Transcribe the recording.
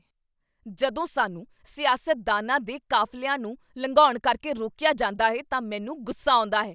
ਜਦੋਂ ਸਾਨੂੰ ਸਿਆਸਤਦਾਨਾਂ ਦੇ ਕਾਫ਼ਲਿਆਂ ਨੂੰ ਲੰਘਾਉਣ ਕਰਕੇ ਰੋਕੀਆ ਜਾਂਦਾ ਹੈ ਤਾਂ ਮੈਨੂੰ ਗੁੱਸਾ ਆਉਂਦਾ ਹੈ।